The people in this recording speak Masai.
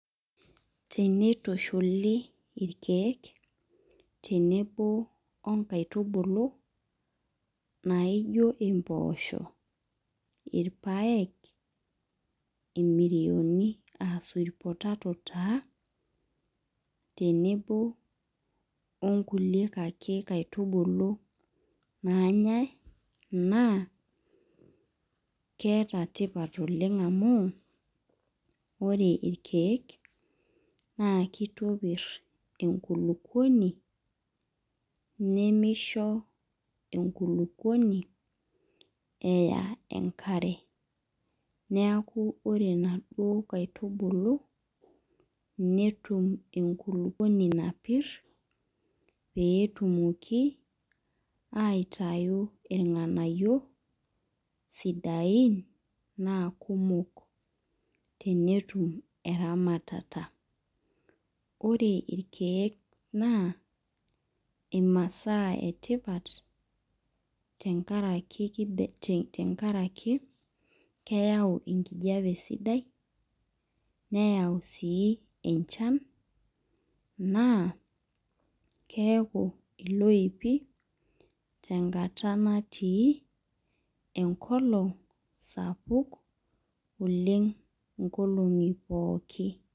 Tenitushuli irkeek tenebo onkaitubulu, naijo impoosho, irpaek, imirioni ah sweet potato taa, tenebo onkulie ake kaitubulu naanyai, naa keeta tipat oleng amu, ore irkeek, naa kitopir enkulukuoni, nimisho enkulukuoni eya enkare. Neeku ore naduo kaitubulu, netum enkulukuoni napir, petumoki aitayu irng'anayio, sidain, naa kumok netum eramatata. Ore irkeek naa, imasaa etipat, tenkaraki, tenkaraki keyau enkijape sidai, neyau si enchan, naa, keeku iloipi tenkata natii enkolong sapuk oleng inkolong'i pookin.